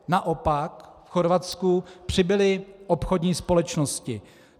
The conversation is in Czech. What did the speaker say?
Naopak v Chorvatsku přibyly obchodní společnosti.